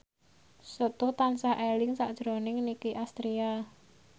Setu tansah eling sakjroning Nicky Astria